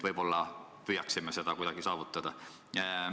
Võib-olla püüaksime seda kuidagi saavutada.